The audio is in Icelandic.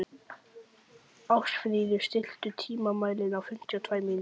Ástfríður, stilltu tímamælinn á fimmtíu og tvær mínútur.